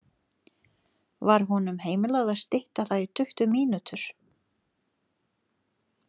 Var honum heimilað að stytta það í tuttugu mínútur.